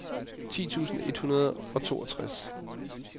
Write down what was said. ti tusind et hundrede og toogtres